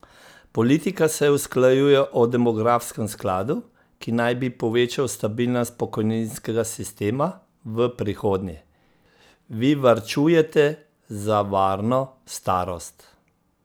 Politika se usklajuje o demografskem skladu, ki naj bi povečal stabilnost pokojninskega sistema v prihodnje, vi varčujete za varno starost?